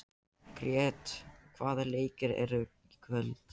Grét, hvaða leikir eru í kvöld?